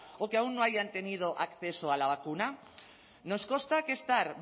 o que aún no hayan tenido acceso a la vacuna nos consta que estar